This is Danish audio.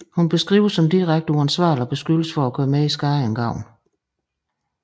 Hun beskrives som direkte uansvarlig og beskyldes for at gøre mere skade end gavn